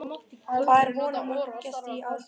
Hvað er von á mörgum gestum í ár, Gunnar?